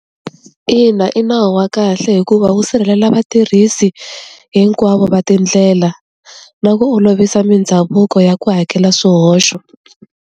Ina i nawu wa kahle hikuva wu sirhelela vatirhisi hinkwavo va tindlela na ku olovisa mindhavuko ya ku hakela swihoxo.